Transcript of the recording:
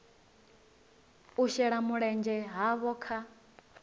u shela mulenzhe havho kha